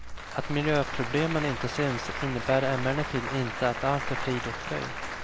Att miljöproblemen inte syns innebär emellertid inte att allt är frid och fröjd.